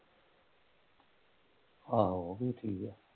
ਆਹੋ